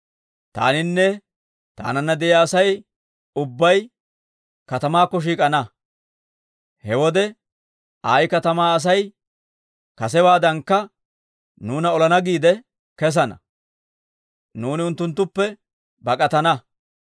Taaninne taananna de'iyaa Asay ubbay katamaakko shiik'ana. He wode Ayi katamaa Asay kasewaadankka nuuna olana giide kessana; nuuni unttunttuppe bak'atana.